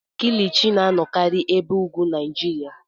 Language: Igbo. Kilichi na-anọkarị n'ebe ugwu Naijiria.